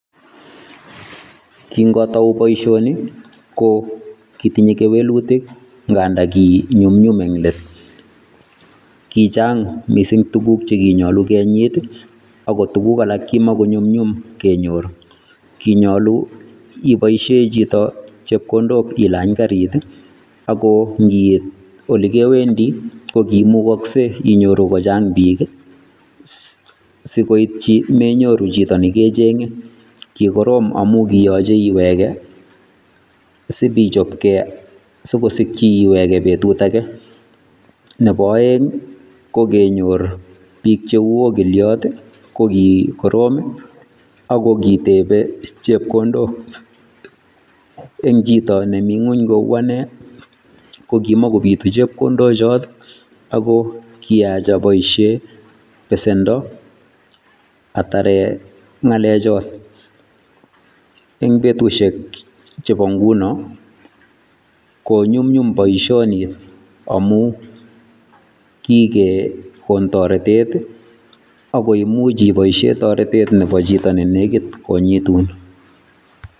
King'otou boishoni ko kitinye keweluutik ngandan kinyumnyum en let. Kichang missing tuguk che kinyolu kenyit, tuguk alak ko kimakonyumnyum kenyor. Iboishien chito chepkondok ilany garit ako ndiit ole kewendi ko kimukoksei inyoru kochang biik, sikoitchin memuche inyoru chito nekechenge amun kiyoche iwekee sipichopgee sikosikyii iwegee betut age. Nebo oeng ko kenyor biik cheu okiliot ko kiroom ako kitebe chepkondok eng chito nemi gwony kou ane kokimokobiitu chepkondok ichoton ako kiyaach aboishen besendo ataren ngalechoton eng betusiek chebo ngunon konyumnyum boishoni amun kikekoon toretet ako imuch iboishien toretet nebo chito nenekit kotoretiin